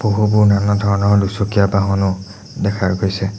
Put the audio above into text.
বহু বহু নানাধৰণৰ দুচকীয়া বাহনো দেখা গৈছে।